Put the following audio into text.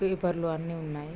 Paper లు అన్ని ఉన్నాయి.